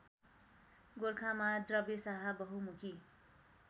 गोरखामा द्रव्यशाह बहुमुखी